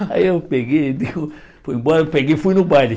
Aí eu peguei, digo fui embora, peguei e fui no baile.